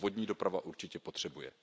To vodní doprava určitě potřebuje.